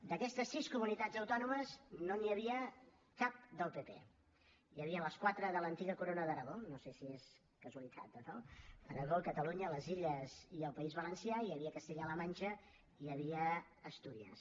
d’aquestes sis comunitats autònomes no n’hi havia cap del pp hi havien les quatre de l’antiga corona d’aragó no sé si és casualitat o no aragó catalunya les illes i el país valencià hi havia castella la manxa i hi havia astúries